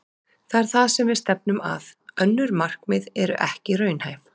Það er það sem við stefnum að. Önnur markmið eru ekki raunhæf.